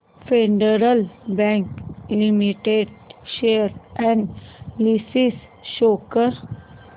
federal Bank limited share analysis show कर